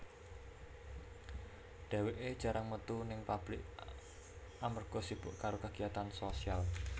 Dheweké jarang metu ning pablik amarga sibuk karo kagiyatan sosial